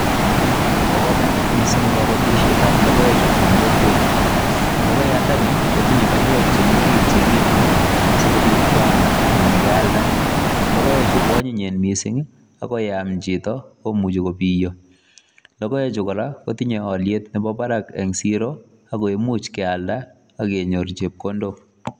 Bo kamanut missing kabatisyeet ab logoek chuu en kokwet logoyaandani kotinyei baiweek chemii orit chekinemuu asikobiit keyaam ii anan keyaldaa logoek chuu ko anyinyen missing ii ako yeah chitoo komuchi kobiyaa logoek chuu kora kotinyei aliet nebo barak en siroo ako imuuch keyaldaa ak kenyoor chepkondook.